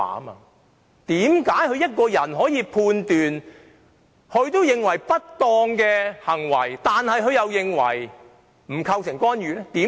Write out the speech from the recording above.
為何對於連她也認為不當的行為，她可判斷為並不構成干預？